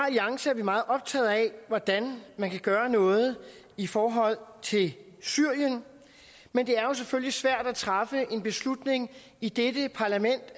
alliance er vi meget optaget af hvordan man kan gøre noget i forhold til syrien men det er selvfølgelig svært at træffe en beslutning i dette parlament